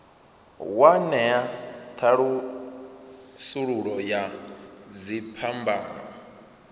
wa ṅea thasululo ya dziphambano